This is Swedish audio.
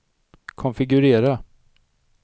konfigurera